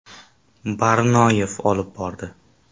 Barnoyev olib bordi.